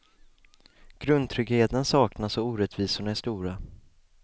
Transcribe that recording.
Grundtryggheten saknas och orättvisorna är stora.